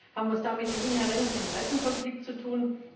Haben wir es da mit einem inhärenten Interessenkonflikt zu tun?